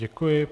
Děkuji.